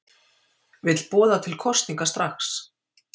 Vill boða til kosninga strax